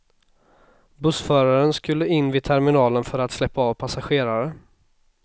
Bussföraren skulle in vid terminalen för att släppa av passagerare.